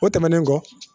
O tɛmɛnen kɔ